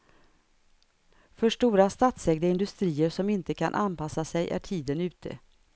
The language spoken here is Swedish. För stora statsägda industrier som inte kan anpassa sig är tiden ute.